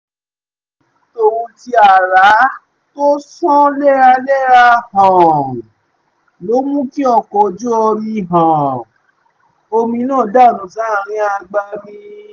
ìjì tóhun tí ààrá tó ń ṣàn léraléra um ló mú kí ọkọ̀ ojú um omi náà dànù sáàrin agbami